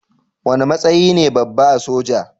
Wane matsayi ne babba a soja?